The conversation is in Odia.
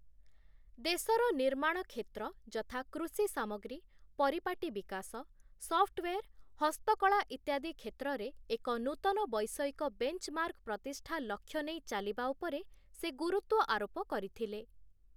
ଦେଶର ନିର୍ମାଣ କ୍ଷେତ୍ର ଯଥା କୃଷି ସାମଗ୍ରୀ, ପରିପାଟୀ ବିକାଶ, ସଫ୍ଟୱେର୍, ହସ୍ତକଳା ଇତ୍ୟାଦି କ୍ଷେତ୍ରରେ ଏକ ନୂତନ ବୈଷୟିକ ବେଞ୍ଚମାର୍କ୍ ପ୍ରତିଷ୍ଠା ଲକ୍ଷ୍ୟ ନେଇ ଚାଲିବା ଉପରେ ସେ ଗୁରୁତ୍ଵ ଆରୋପ କରିଥିଲେ ।